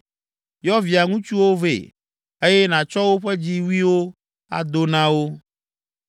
Yɔ via ŋutsuwo vɛ, eye nàtsɔ woƒe dziwuiwo ado na wo.